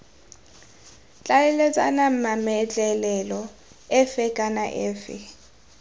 tlhaeletsana mametlelelo efe kana efe